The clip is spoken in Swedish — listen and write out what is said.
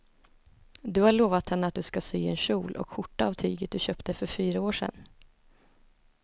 Du har lovat henne att du ska sy en kjol och skjorta av tyget du köpte för fyra år sedan.